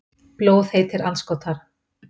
Blóðheitir andskotar.